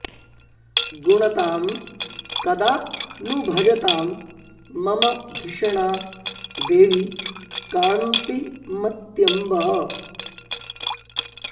गुणतां कदा नु भजतां मम धिषणा देवि कान्तिमत्यम्ब